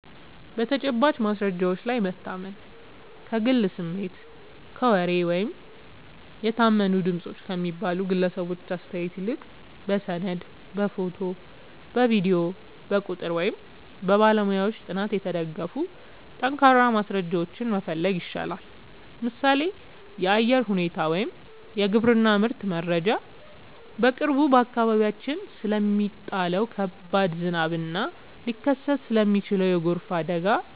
በተጨባጭ ማስረጃዎች ላይ መታመን፦ ከግል ስሜት፣ ከወሬ ወይም "የታመኑ ድምፆች" ከሚባሉ ግለሰቦች አስተያየት ይልቅ፣ በሰነድ፣ በፎቶ፣ በቪዲዮ፣ በቁጥር ወይም በባለሙያዎች ጥናት የተደገፉ ጠንካራ ማስረጃዎችን መፈለግ ይሻላል። ምሳሌ (የአየር ሁኔታ ወይም የግብርና ምርት መረጃ)፦ በቅርቡ በአካባቢያችን ስለሚጣለው ከባድ ዝናብ እና ሊከሰት ስለሚችል የጎርፍ አደጋ